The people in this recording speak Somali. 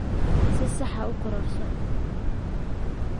Si sax ah u kororso.